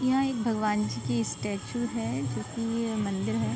यह एक भगवान जी की स्टेचू है जोकि एक मंदिर है।